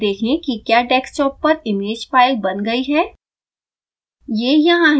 अब खोलें और देखें कि क्या डेस्कटॉप पर इमेज फाइल बन गयी है